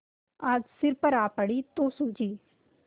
आज सिर पर आ पड़ी तो सूझी